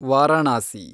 Varanasi